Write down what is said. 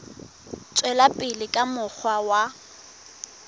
tswela pele ka mokgwa wa